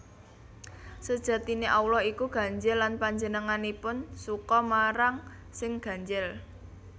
Sejatiné Allah iku ganjil lan Panjenenganipun suka marang sing ganjil